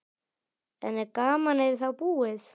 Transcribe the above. En er gamanið þá búið?